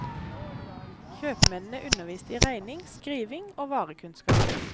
Kjøpmennene underviste i regning, skriving og varekunnskap.